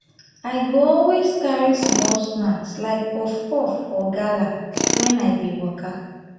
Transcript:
i go always carry small snack like puff-puff or gala when i dey waka.